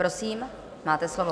Prosím, máte slovo.